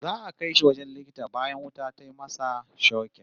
Za'a kai shi wajen likita bayan wuta ta masa shokin